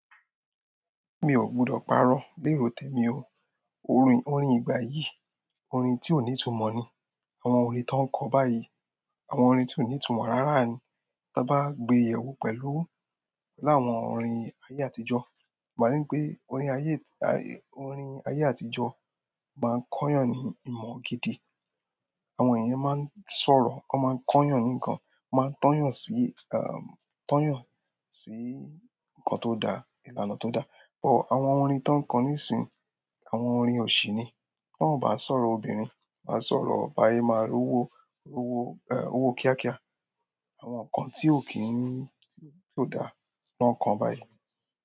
Mi ò gbudọ̀ pàrọ̀ bí eró tèmi o. Orin, orin ìgbà yìí, orin tí ó ní ìtumọ̀ ni. Àwọn orin tọ́ ń kọ báyìí, àwọn orin tí ó ní ìtumọ̀ rárá ni. Tabá gbe yẹ̀ wò pẹ̀lú láwọn orin ayé àtijọ́, máa ríi pé orin ayé, ti--ta--re--- orin ayé àtijọ́, máa n kọ́yàn ní ìmọ̀ gidi. Àwọn èèyàn máa ń sọ̀rọ̀, wọ́n máa ń kọ́yàn ní ǹkan, wọ́n máa ń tọ́yàn sí, em tọ́yàn sí ǹkan tó dá, ìlànà tó da. But àwọn orin tọ́ ń kọ níìsín, àwọn orin òṣì ni. Bi wọ́n ò bá sọ̀rọ̀ obìnrin, wá a sọ̀rọ̀ báṣe máa rówó, rówó, em owó kíákíá. Àwọn ǹkan tí ó kì í n, tí ó dá ni wọ́n ń kọ báyìí.